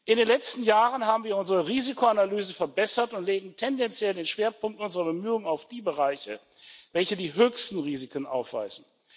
In den letzten Jahren haben wir unsere Risikoanalyse verbessert und legen tendenziell den Schwerpunkt unserer Bemühungen auf die Bereiche, welche die höchsten Risiken aufweisen.